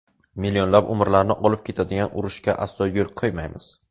Millionlab umrlarni olib ketadigan urushga aslo yo‘l qo‘ymaymiz.